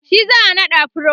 shi za'a naɗa pro